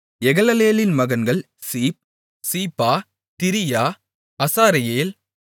எகலெலேலின் மகன்கள் Ziph Ziphah Tiria Asareel